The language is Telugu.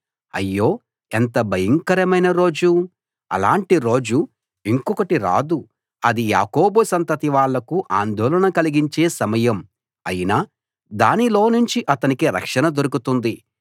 అయ్యో ఎంత భయంకరమైన రోజు అలాంటి రోజు ఇంకొకటి రాదు అది యాకోబు సంతతి వాళ్లకు ఆందోళన కలిగించే సమయం అయినా దానిలోనుంచి అతనికి రక్షణ దొరుకుతుంది